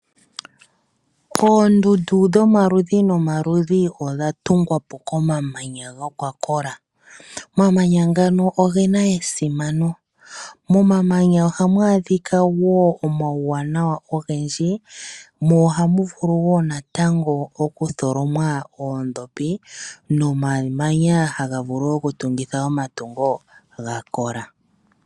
Oondundu dhomaludhi nomaludhi odha tungwa po komamanya ga kola. Omamanya ngano oge na esimano. Momamanya ohamu adhika wo omauwanawa ogendji, mo ohamu vulu wo okutholomwa oondhopi nomamanya haga vulu okutungithwa omatungo ga kola.